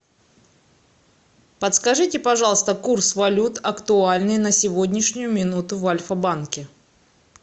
подскажите пожалуйста курс валют актуальные на сегодняшнюю минуту в альфа банке